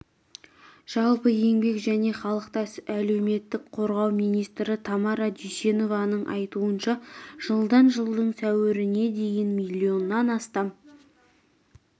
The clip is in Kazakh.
жалпы еңбек және халықты әлеуметтік қорғау министрі тамара дүйсенованың айтуынша жылдан жылдың сәуіріне дейін миллионнан астам